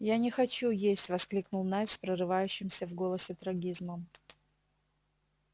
я не хочу есть воскликнул найд с прорывающимся в голосе трагизмом